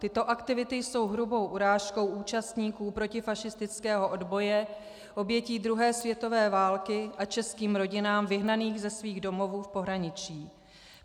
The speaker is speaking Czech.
Tyto aktivity jsou hrubou urážkou účastníků protifašistického odboje, obětí druhé světové války a českých rodin vyhnaných ze svých domovů v pohraničí.